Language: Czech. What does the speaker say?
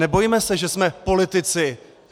Nebojme se, že jsme politici!